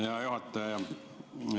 Hea juhataja!